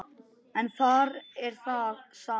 En þar er það sama.